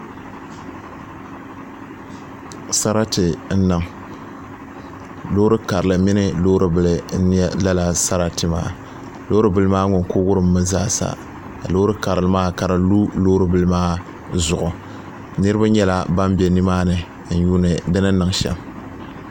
Sarati n niŋ loori karili mini loori bili n nyɛ lala sarati maa loori bili maa ŋun ku wurimmi zaa sa ka loori karili maa ka di lu loori bili maa zuɣu niraba nyɛla ban bɛ nimaani n yuundi di ni niŋ shɛm